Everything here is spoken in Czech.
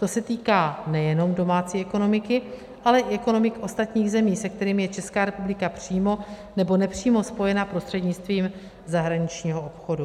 To se týká nejenom domácí ekonomiky, ale i ekonomik ostatních zemí, se kterými je Česká republika přímo nebo nepřímo spojena prostřednictvím zahraničního obchodu.